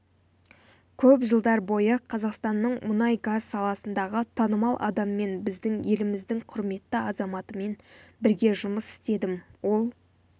көп жылдар бойы қазақстанның мұнай-газ саласындағы танымал адаммен біздің еліміздің құрметті азаматымен бірге жұмыс істедім ол